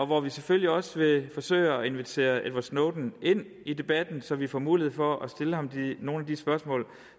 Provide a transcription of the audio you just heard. hvor vi selvfølgelig også vil forsøge at invitere edward snowden ind i debatten så vi får mulighed for at stille ham nogle af de spørgsmål